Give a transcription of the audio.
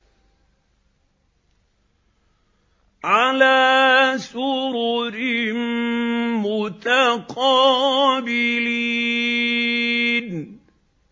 عَلَىٰ سُرُرٍ مُّتَقَابِلِينَ